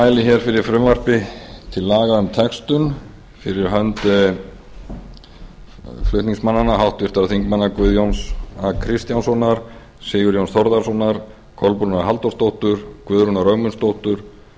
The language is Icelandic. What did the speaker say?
mæli hér fyrir frumvarpi til laga um textun fyrir hönd flutningsmannanna háttvirtu þingmenn guðjóns a kristjánssonar sigurjóns þórðarsonar kolbrúnar halldórsdóttur guðrúnar ögmundsdóttur